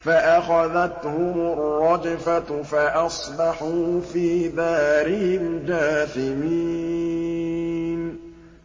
فَأَخَذَتْهُمُ الرَّجْفَةُ فَأَصْبَحُوا فِي دَارِهِمْ جَاثِمِينَ